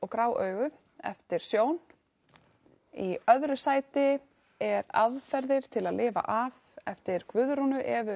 grá augu eftir Sjón í öðru sæti er aðferðir til að lifa af eftir Guðrúnu Evu